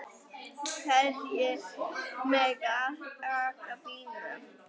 Hverjir mega aka bílnum?